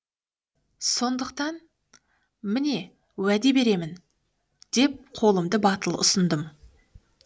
сондықтан міне уәде беремін деп қолымды батыл ұсындым